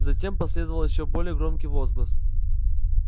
затем последовал ещё более громкий возглас